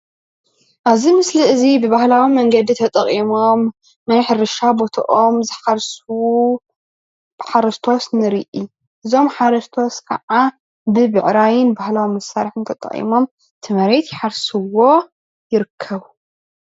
አብዚ ምስሊ እዚ ብባህላዊ መንገዲ ተጠቂቆም ናይ ሕርሻ በቶኣም ዘሓርሱ ሓርስቶት ንሪኢ። እዞም ሓርስቶት ከዓ ብበዕራይ ባህላዊ መስርሒ ተጠቂሞም ቲ መሬት የሓርስዎ ይርከቡ።